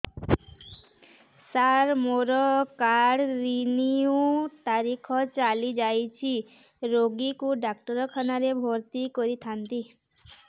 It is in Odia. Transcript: ସାର ମୋର କାର୍ଡ ରିନିଉ ତାରିଖ ଚାଲି ଯାଇଛି ରୋଗୀକୁ ଡାକ୍ତରଖାନା ରେ ଭର୍ତି କରିଥାନ୍ତି